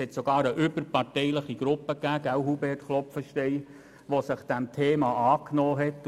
Es gab sogar eine überparteiliche Gruppe, nicht wahr, Hubert Klop fenstein, die sich dieses Themas angenommen hat.